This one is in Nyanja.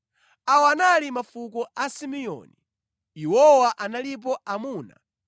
Awa anali mafuko a Simeoni. Iwowa analipo amuna 22,200.